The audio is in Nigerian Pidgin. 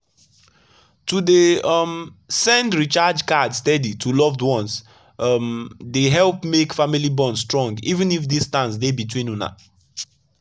to dey um send recharge card steady to loved ones um dey help make family bond strong even if distance dey between una.